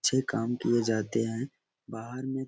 अच्छे काम किये जाते हैं बाहर में --